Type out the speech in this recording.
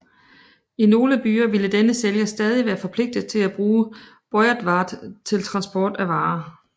I nogle byer ville denne sælger stadig være forpligtet at bruge beurtvaart til transport af varer